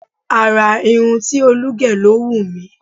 Àrà irun tí Olú gẹ̀ ló wù mí.